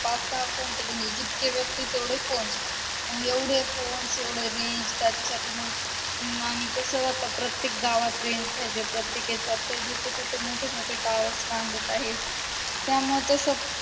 पाच सहा phone म्हणजे जितके व्यक्ती तेवडे phone मग एवढे phone तेवढे range त्याच्यासाठी मग आणि कस आता प्रत्येक गावात range पाहिजे प्रत्येक येच्यात मोठे मोठे tower बांधत आहे त्यामुळे तस